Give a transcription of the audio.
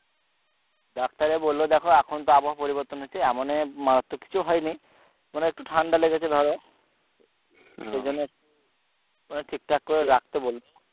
ডাক্তারে বললো দেখো এখন তো আবহাওয়া পরিবর্তন হচ্ছে এমন এ মারাত্মক কিছু হয়ে নি মানে একটু ঠান্ডা লেগেছে ধরো মানে ঠিক ঠাক রাখতে বলছে